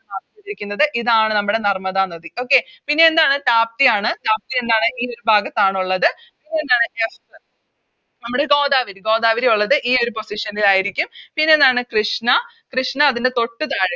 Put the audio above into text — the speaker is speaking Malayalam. Mark ചെയ്തിരിക്കുന്നത് ഇതാണ് നമ്മുടെ നർമ്മദ നദി Okay പിന്നെ എന്താണ് താപ്തിയാണ് താപ്തി എന്താണ് ഈയൊരു ഭാഗത്താണുള്ളത് പിന്നെ എന്താണ് നമ്മുടെ ഗോദാവരി ഗോദാവരി ഒള്ളത് ഈയൊരു Position ൽ ആരിക്കും പിന്നെ എന്താണ് കൃഷ്ണ കൃഷ്ണ അതിൻറെ തൊട്ട് താഴെ